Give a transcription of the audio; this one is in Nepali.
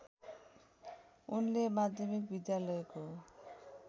उनले माध्यमिक विद्यालयको